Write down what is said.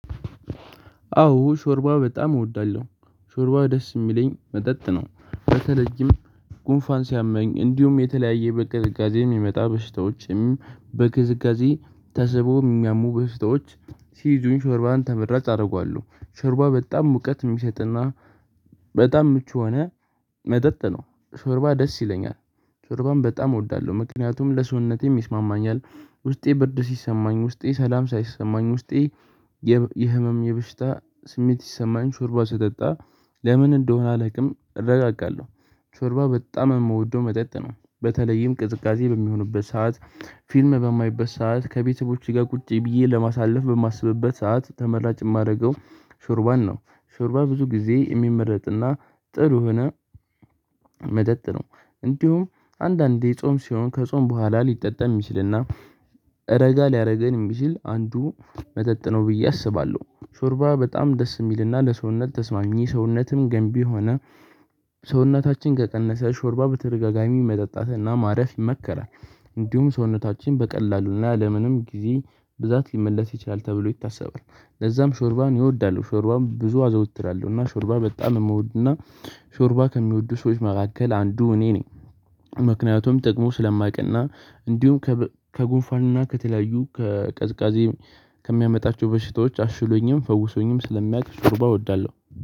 አዎ ሾርባ በጣም እወዳለሁ ሾርባ ደስ የሚለኝ መጠጥ ነው። በተለይም ጉንፋን ሲያመኝ እንዲሁም የተለያየ በቅዝቃዜ የሚመጣ በሽታዎችም በቅዝቃዜ ተስቦ የሚያሙ በሽታዎች ሲይዙን ሾርባን ተመራጭ አደርገዋለሁ። ሾርባ በጣም ሙቀት የሚሰጥና በጣም ምቹ የሆነ መጠጥ ነው ሾርባ ደስ ይለኛል። ሾርባም በጣም እወዳለሁ ምክንያቱም ለሰውነቴም ይስማማኛል። ውስጤ ብርድ ሲሰማኝ ውስጤ ሰላም ሳይሰሰማኝ ውስጤ የህመም የበሽታ ስሜት ሲሰማኝ ሾርባ ስጠጣ። ለምን እንደሆነ አላውቅም እረጋጋለሁ። ሾርባ በጣም የምወደው መጠጥ ነው። በተለይም ቅዝቃዜ በሚሆንበት ሰዓት ፊልም በማይበት ሰዓት ከቤተሰቦቼ ጋር ቁጭ ብዬ ለማሳለፍ በማስብበት ሰዓት ተመራጭ የማደርገው ሾርባን ነው። ሾርባ ብዙ ጊዜ የሚመረጥና ጥሩ የሆነ መጠጥ ነው። እንዲሁም አንዳንዴ ጾም ሲሆን ከጾም በኋላ ሊጠጣ የሚችልና እረጋ ሊያደርገን የሚችል አንዱ መጠጥ ነው ብዬ አስባለሁ። ሾርባ በጣም ደስ የሚልና ለሰውነት ተስማሚ ሰውነትም ገንቢ ሆነ። ሰውነታችን ከቀነሰ ሾርባ በተደጋጋሚ መጠጣትና ማረፍ ይመከራል። እንዲሁም ሰውነታችን በቀላሉና ለምንም ጊዜ ብዛት ሊመለስ ይችላል ተብሎ ይታሰባል። ለዛም ሾርባን ይወዳሉ ሾርባም ብዙ አዘውትራለሁ እና ሾርባ በጣም የምወድና ሾርባ ከሚወዱ ሰዎች መካከል አንዱ እኔ ነኝ። ምክንያቱም ጠቅሞኝ ስለሚያውቅና እንዲሁም ከጉንፋንና ከተለያዩ ከቅዝቃዜ ከሚያመጣቸው በሽታዎች አሽሎኝም ፈውሶኝም ስለሚያቅ ሾርባ እወዳለሁ።